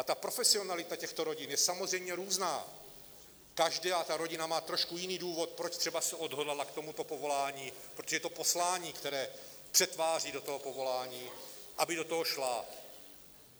A ta profesionalita těchto rodin je samozřejmě různá, každá ta rodina má trošku jiný důvod, proč třeba se odhodlala k tomuto povolání, protože to je poslání, které přetváří do toho povolání, aby do toho šla.